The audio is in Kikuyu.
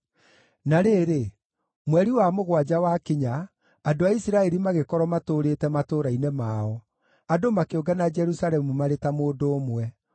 Na rĩrĩ, mweri wa mũgwanja wakinya, andũ a Isiraeli magĩkorwo matũũrĩte matũũra-inĩ mao, andũ makĩũngana Jerusalemu marĩ ta mũndũ ũmwe.